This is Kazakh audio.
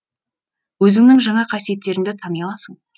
өзіңнің жаңа қасиеттеріңді тани аласың